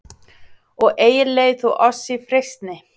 Og eigi leið þú oss í freistni,